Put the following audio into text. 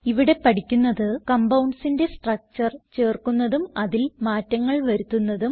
ഇവിടെ പഠിക്കുന്നത് compoundsന്റെ സ്ട്രക്ചർ ചേർക്കുന്നതും അതിൽ മാറ്റങ്ങൾ വരുത്തുന്നതും